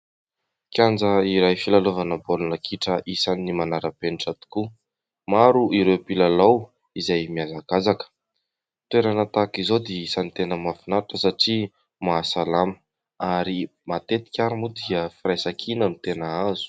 Kianja iray filalaovana baolina kitra isany manara-penitra tokoa. Maro iireo mpilalao izay mihazakazaka. Ny toerana tahaka izao dia isany tena mahafinaritra satria mahasalama ary matetika ary moa dia firaisan-kina no tena azo.